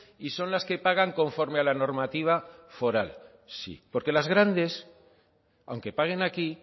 y son las que pagan conforme a la normativa foral sí porque las grandes aunque paguen aquí